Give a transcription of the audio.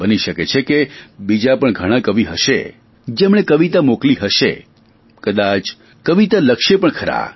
બની શકે છે બીજા પણ ઘણા કવિ હશે જેમણે કવિતા મોકલી હશે કદાચ કવિતા લખશે પણ ખરા